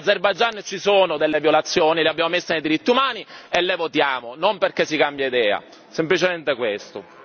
In Azerbaigian ci sono delle violazioni, l'abbiamo messa nei diritti umani e la votiamo, non perché si cambia idea! Semplicemente questo.